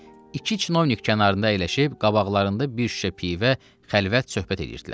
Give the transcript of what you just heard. İki çinovnik kənarında əyləşib qabaqlarında bir şüşə pivə xəlvət söhbət eləyirdilər.